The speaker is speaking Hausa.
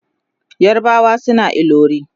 yarbawa suna ilori